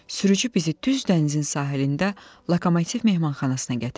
Sürücü bizi düz dənizin sahilində Lokomotiv mehmanxanasına gətirdi.